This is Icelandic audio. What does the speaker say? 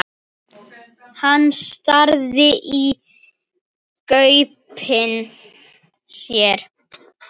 Hann starði í gaupnir sér.